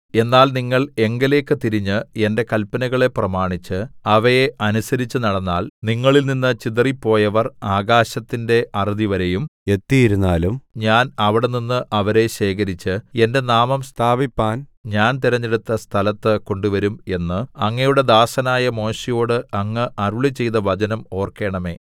എന്നാൽ നിങ്ങൾ എങ്കലേയ്ക്ക് തിരിഞ്ഞ് എന്റെ കല്പനകളെ പ്രമാണിച്ച് അവയെ അനുസരിച്ചുനടന്നാൽ നിങ്ങളിൽനിന്ന് ചിതറിപ്പോയവർ ആകാശത്തിന്റെ അറുതിവരെയും എത്തിയിരുന്നാലും ഞാൻ അവിടെനിന്ന് അവരെ ശേഖരിച്ച് എന്റെ നാമം സ്ഥാപിപ്പാൻ ഞാൻ തിരഞ്ഞെടുത്ത സ്ഥലത്ത് കൊണ്ടുവരും എന്ന് അങ്ങയുടെ ദാസനായ മോശെയോട് അങ്ങ് അരുളിച്ചെയ്ത വചനം ഓർക്കേണമേ